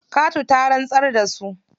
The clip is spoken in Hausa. Katu ta rantsar da su.